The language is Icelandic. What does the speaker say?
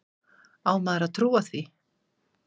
Á maður að trúa því?